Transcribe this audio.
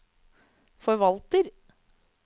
forvalter